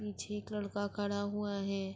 پیچھے ایک لڑکا کھڈا ہوا ہے۔